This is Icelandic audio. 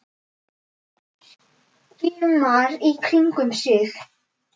Skimar í kringum sig.